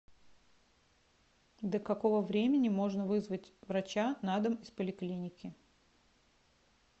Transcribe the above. до какого времени можно вызвать врача на дом из поликлиники